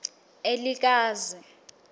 elikazi